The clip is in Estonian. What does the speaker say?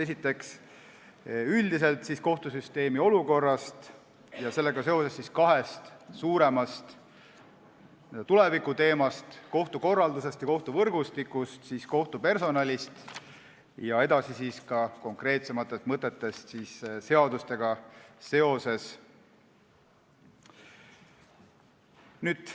Esiteks räägin üldiselt kohtusüsteemi olukorrast ja kahest suuremast tulevikuteemast, kohtukorraldusest ja kohtuvõrgustikust, teiseks räägin kohtupersonalist ja kolmandaks konkreetsematest mõtetest seadustega seoses.